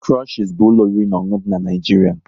Krushies bụ ụlọ oriri na ọṅụṅụ dị n'Naijiria